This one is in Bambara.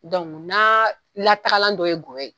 n'a la tagalan dɔ ye n gɔyɔ ye